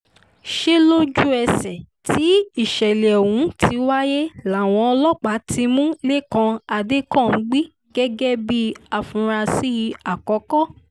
ṣe lójú-ẹsẹ̀ tí ìṣẹ̀lẹ̀ ọ̀hún ti wáyé làwọn ọlọ́pàá ti mú lẹ́kàn adẹkànḿgbì gẹ́gẹ́ bíi àfúráṣí àkọ́kọ́